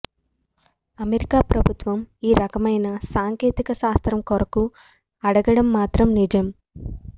America ప్రభుత్వం ఈ రకమైన సాంకేతిక శాస్త్రం కొరకు అడగడం మాత్రం నిజం